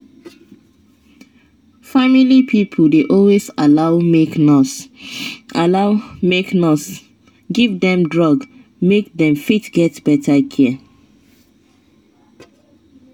family pipo dey always allow make nurse allow make nurse give dem drug make dem fit get better care